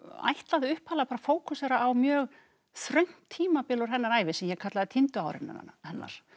ætlaði upphaflega bara að fókusera á mjög þröngt tímabil úr hennar ævi sem ég kallaði týndu árin hennar